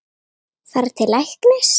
Fara til læknis?